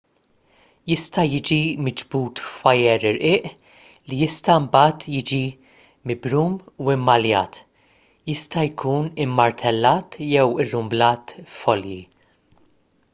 jista' jiġi miġbud f'wajer irqiq li jista' mbagħad jiġi mibrum u mmaljat jista' jkun immartellat jew irrumblat f'folji